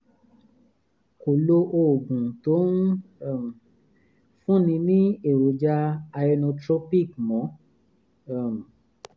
kò lo oògùn tó ń um fúnni ní èròjà ionotropic mọ́ um